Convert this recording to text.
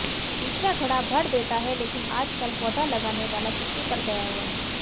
तीसरा घड़ा भर देता है लेकिन आजकल पौधा लगाने वाला छुट्टी पर गया हुआ है